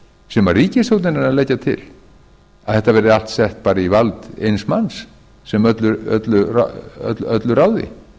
sem ríkisstjórnin er að leggja til að þetta verði allt sett bara í vald eins manns sem öllu ráði